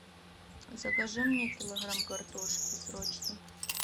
закажи мне килограмм картошки срочно